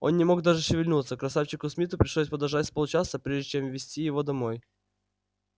он не мог даже шевельнуться красавчику смиту пришлось подождать с полчаса прежде чем вести его домой